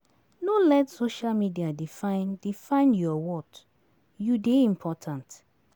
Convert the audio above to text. No let social media define define your worth; you dey important.